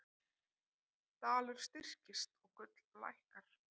Dalur styrkist og gull lækkar